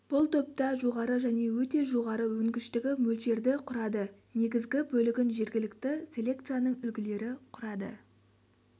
бұл топта жоғары және өте жоғары өнгіштігі мөлшерді құрады негізгі бөлігін жергілікті селекцияның үлгілері құрады